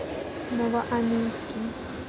новоаннинским